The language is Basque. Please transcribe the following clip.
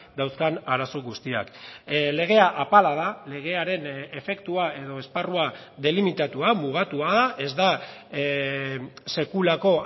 dauzkan arazo guztiak legea apala da legearen efektua edo esparrua delimitatua mugatua da ez da sekulako